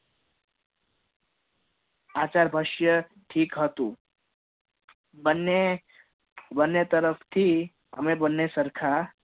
આશર પરસ્ય ઠીક હતું બંને બંને તરફ થી અમે બંને સરખા